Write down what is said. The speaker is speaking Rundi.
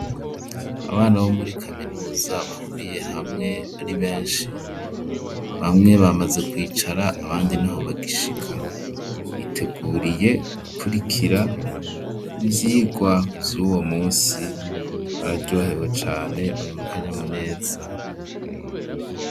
Abana bo muri kaminuza bahuriye hamwe ari benshi ,bamwe bamaze kwicara abandi niho bagishika, biteguriye gukurikira ivyigwa vyuwo munsi ,bararyohewe cane bari mu kanyamuneza.